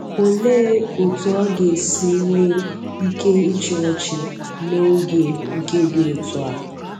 Olee otú ọ ga-esi nwee ike ịchị ọchị n’oge nke dị otú a